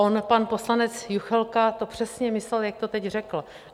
On pan poslanec Juchelka to přesně myslel, jak to teď řekl.